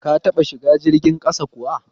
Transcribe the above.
Ka taɓa shiga jirgin ƙasa kuwa?